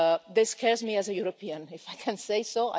This scares me as a European, if I can say so.